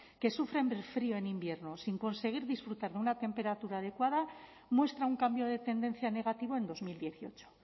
que sufren el frío en invierno sin conseguir disfrutar de una temperatura adecuada muestra un cambio de tendencia negativo en dos mil dieciocho